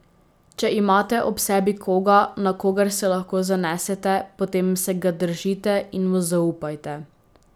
Če imate ob sebi koga, na kogar se lahko zanesete, potem se ga držite in mu zaupajte.